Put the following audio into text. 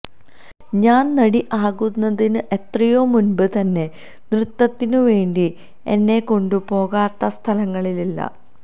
ഞാൻ നടി ആകുന്നതിന് എത്രയോ മുൻപ് തന്നെ നൃത്തത്തിനു വേ ണ്ടി എന്നെ കൊണ്ടു പോകാത്ത സ്ഥലങ്ങളില്ല